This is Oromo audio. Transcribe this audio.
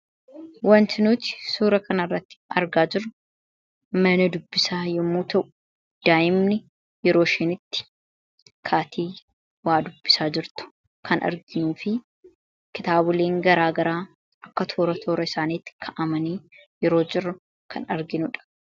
Wanti nuti suura kan irratti argaa jirru mana dubbisaa yommuu ta'u daa'imni yeroo ishin itti kaatee waa dubbisaa jirtu kan arginuu fi kitaaboliin garaagaraa akka toora toora isaaniitti ka'amanii yeroo jiru kan arginuudha.